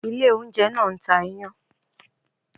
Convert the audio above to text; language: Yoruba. Ilé oúnjẹ náà ń ta iyán